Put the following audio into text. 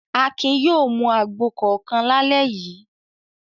Akin yóò mu àgbo kọ̀ọ̀kan lálẹ́ yìí!